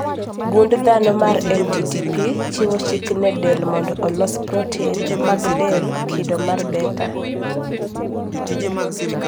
gund dhano mar MTTP chiwo chik ne del mondo olos protin mag del kido mar beta